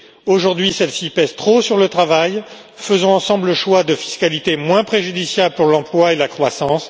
Aujourd'hui celle ci pèse trop sur le travail, faisons ensemble le choix d'une fiscalité moins préjudiciable pour l'emploi et la croissance.